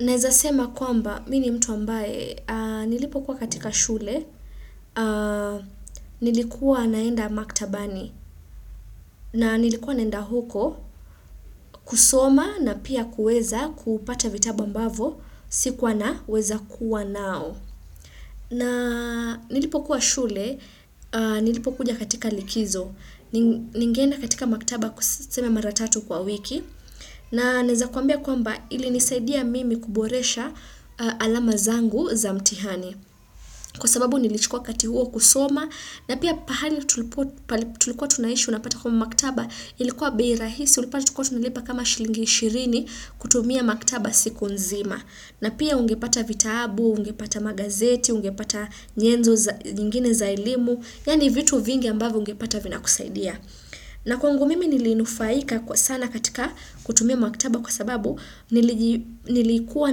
Neza sema kwamba, mimi ni mtu ambaye, nilipo kuwa katika shule, nilikuwa naenda maktabani. Na nilikuwa naenda huko, kusoma na pia kuweza kupata vitabu ambavyo, sikuwa na weza kuwa navyo. Na nilipo kuwa shule, nilipo kuja katika likizo, ningeenda katika maktaba kuseme mara tatu kwa wiki. Na naweza kwambia kwamba, ili nisaidia mimi kuboresha alama zangu za mtihani. Kwa sababu nilichukua wakati huo kusoma. Na pia pahali tulikuwa tunaishi unapata kwamba, maktaba ilikuwa bei rahisi unapata tulikuwa tunilipa kama shilingi ishirini, kutumia maktaba siku nzima. Na pia ungepata vitabu, ungepata magazeti, ungepata nyenzo nyingine za elimu. Yaani vitu vingi ambavyo ungepata vinakusaidia. Na kwangu mimi nilinufaika sana katika, kutumia maktaba kwa sababu. Nilikuwa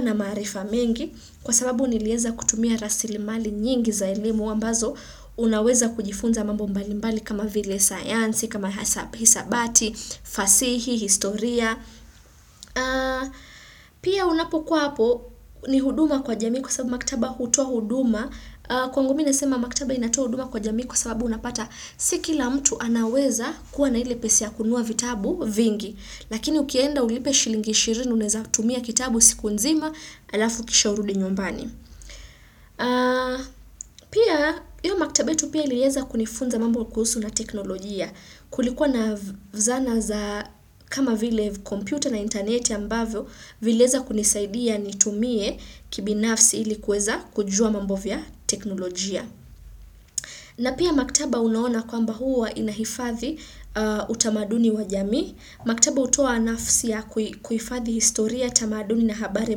na maarifa mengi, kwa sababu niliweza kutumia rasili mali nyingi za ilimu ambazo, unaweza kujifunza mambo mbalimbali kama vile, sayansi, kama hesabati, fasihi, historia. Pia unapokuwa hapo ni huduma kwa jamii kwa sababu maktaba hutua huduma. Kwangu mimi nasema maktaba inatoa huduma kwa jamii kwa sababu unapata, Si kila mtu anaweza kuwa na ile pesa ya kununua vitabu vingi. Lakini ukienda ulipe shilingi ishirini unaweza tumia kitabu siku nzima. Alafu kisha urudi nyumbani. Pia, hiyo maktaba yetu pia ilieza kunifunza mambo kuhusu na teknolojia. Kulikuwa na zana za kama vile kompyta na internet ambavyo, viliweza kunisaidia nitumie, kibinafsi ilikuweza kujua mambo ya teknolojia. Na pia maktaba unaona kwamba, huwa inaifadhi, utamaduni wa jamii. Maktaba utoa nafasi ya kuifadhi historia, tamaduni na habari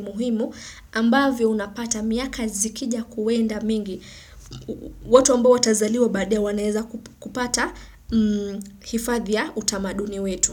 muhimu. Ambavyo unapata miaka zikija kwenda mingi. Watu ambao watazaliwa baadaye, wanaweza kupata ifadhi ya utamaduni wetu.